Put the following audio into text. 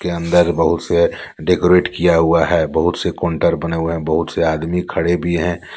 के अंदर बहुत से डेकोरेट किया हुआ है बहुत से काउंटर बने हुए हैं बहुत से आदमी खड़े भी हैं।